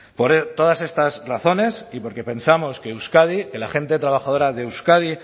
por todas estas razones y porque pensamos que euskadi que la gente trabajadora de euskadi